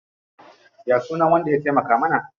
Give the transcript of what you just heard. Ya sunan wanda ya taimaka mana?